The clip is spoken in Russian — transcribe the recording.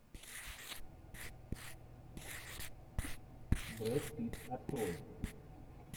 брэд питт открой